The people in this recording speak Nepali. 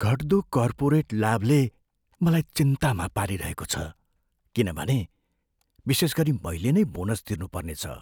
घट्दो कर्पोरेट लाभले मलाई चिन्तामा पारिरहेको छ किनभने विशेष गरी मैले नै बोनस तिर्नुपर्नेछ।